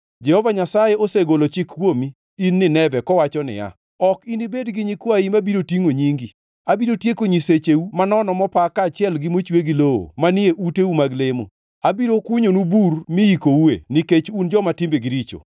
Jehova Nyasaye osegolo chik kuomi, in Nineve, kowacho niya: “Ok inibed gi nyikwayi mabiro tingʼo nyingi. Abiro tieko nyisecheu manono mopa kaachiel gi mochwe gi lowo manie uteu mag lemo. Abiro kunyonu bur miyikoue nikech un joma timbegi richo.”